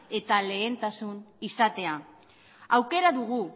eta lehentasun izatea aukera dugu